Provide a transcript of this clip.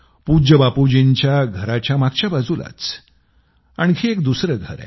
पूज्य बापूजींच्या घराच्या मागच्या बाजूलाच आणखी एक दुसरे घर आहे